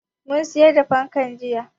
Mun siyar da fankar jiya.